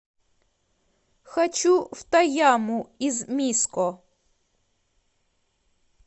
хочу в тояму из миско